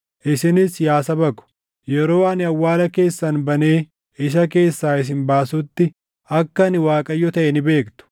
Isinis yaa saba ko, yeroo ani awwaala keessan banee isa keessaa isin baasutti, akka ani Waaqayyo taʼe ni beektu.